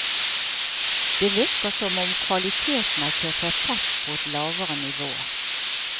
Det virker som om kvaliteten har kjørt seg fast på et lavere nivå.